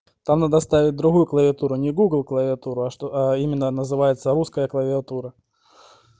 там надо ставить другую клавиатуру не клавиатуру а что аа именно называется русская клавиатура